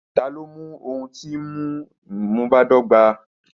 Tani o mu ohun ti nmu badọgba?